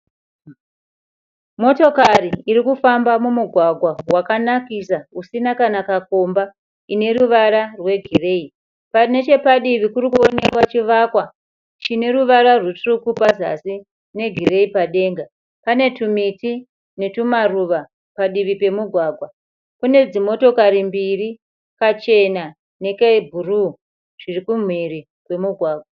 Motokari irikufamba mumugwagwa wakanakisa usina kana kakomba ine ruvara rwe gireyi . Nechepadivi kurikuonekwa chivakwa chine ruvara rutsvuku pazasi ne gireyi padenga. Pane tumiti netumaruva padivi pemugwagwa. Kune dzimotokari mbiri kachena neke bhuruu zviri kumhiri kwemugwagwa.